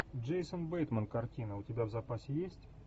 джейсон бейтман картина у тебя в запасе есть